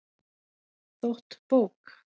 Þótt bók